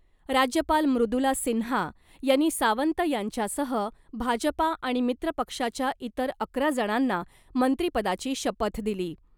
राज्यपाल मृदुला सिन्हा यांनी सावंत यांच्यासह भाजपा आणि मित्र पक्षाच्या इतर अकरा जणांना मंत्रिपदाची शपथ दिली .